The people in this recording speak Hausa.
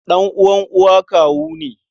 Ɗan'uwan uwa kawu ne.